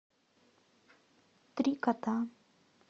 три кота